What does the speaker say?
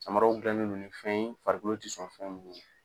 Samaraw dilan nen do ni fɛn ye farikolo tɛ sɔn fɛn munnu na.